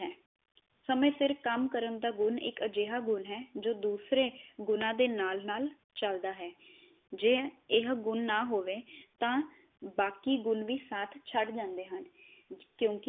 ਸਮੇ ਸਿਰ ਕੰਮ ਕਰਨ ਦਾ ਗੁਣ ਇਕ ਅਜਿਹਾ ਗੁਣ ਹੈ ਜੋ ਦੂਸਰੇ ਗੁਣਾ ਦੇ ਨਾਲ ਨਾਲ ਚਲਦਾ ਹੈ, ਜੇ ਇਹ ਗੁਣ ਨਾ ਹੋਵੇ ਤਾਂ ਬਾਕੀ ਗੁਣ ਵ ਸਾਥ ਛਡ ਜਾਂਦੇ ਹਨ ਕਿਓਕਿ